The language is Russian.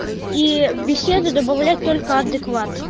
к и в беседу добавлять только адекват